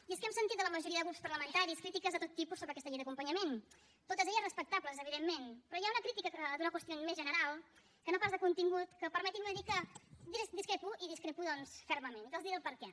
i és que hem sentit de la majoria de grups parlamentaris crítiques de tot tipus sobre aquesta llei d’acompanyament totes respectables evidentment però hi ha una crítica d’una qüestió més general que no pas de contingut que permetin me dir que hi discrepo i hi discrepo doncs fermament i els diré el perquè